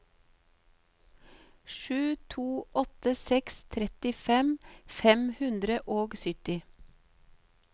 sju to åtte seks trettifem fem hundre og sytti